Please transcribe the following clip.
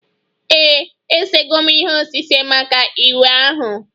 Ee, esego m ihe osise maka iwe ahụ